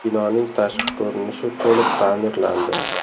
Binoning tashqi ko‘rinishi to‘liq ta’mirlandi.